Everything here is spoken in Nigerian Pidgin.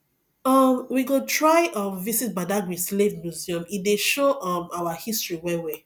um we go try um visit badagary slave museum e dey show um our history wellwell